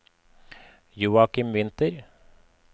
Joakim Winther